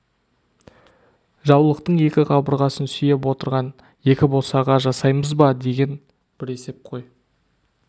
жаулықтың екі қабырғасын сүйеп отыратын екі босаға жасаймыз ба деген бір есеп қой